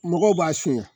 Mɔgɔw b'a suɲɛ